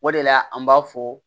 O de la an b'a fɔ